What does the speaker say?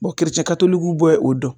Bɔn kerecɛn katolokiw bɔ o dɔn